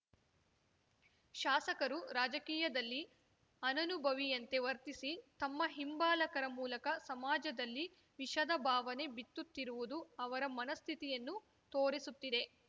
ಶಾಸಕರು ರಾಜಕೀಯದಲ್ಲಿ ಅನನುಭವಿಯಂತೆ ವರ್ತಿಸಿ ತಮ್ಮ ಹಿಂಬಾಲಕರ ಮೂಲಕ ಸಮಾಜದಲ್ಲಿ ವಿಷದ ಭಾವನೆ ಬಿತ್ತುತ್ತಿರುವುದು ಅವರ ಮನಸ್ಥಿತಿಯನ್ನು ತೋರಿಸುತ್ತಿದೆ